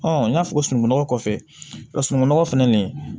n y'a fɔ sununkunnɔgɔ kɔfɛ sunugunɔgɔ fɛnɛ nin